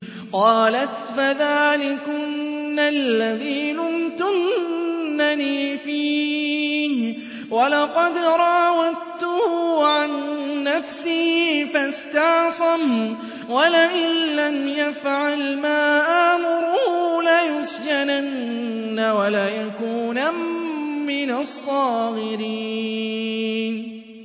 قَالَتْ فَذَٰلِكُنَّ الَّذِي لُمْتُنَّنِي فِيهِ ۖ وَلَقَدْ رَاوَدتُّهُ عَن نَّفْسِهِ فَاسْتَعْصَمَ ۖ وَلَئِن لَّمْ يَفْعَلْ مَا آمُرُهُ لَيُسْجَنَنَّ وَلَيَكُونًا مِّنَ الصَّاغِرِينَ